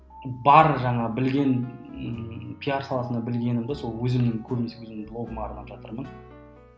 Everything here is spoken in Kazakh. бар жаңа білген ііі пиар саласында білгенімді сол өзімнің көбінесе өзімнің блогыма арнап жатырмын